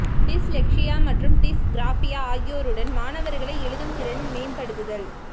dyslexia மற்றும் dysgraphia ஆகியோருடன் மாணவர்களை எழுதும் திறன் மேம்படுத்துதல்